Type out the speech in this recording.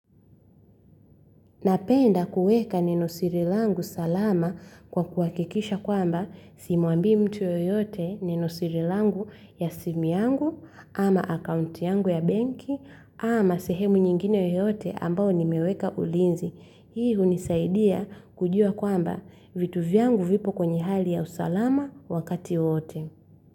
Napenda kueka nenosiri langu salama kwa kuwakikisha kwamba simuambi mtu yoyote nenosiri langu ya simu yangu, ama akaunti yangu ya benki, ama sehemu nyingine yoyote ambao nimeweka ulinzi. Hii hunisaidia kujua kwamba vitu vyangu vipo kwenye hali ya usalama wakati wote.